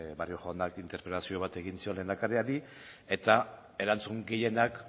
barrio jaunak interpelazio bat egin zion lehendakariari eta erantzun gehienak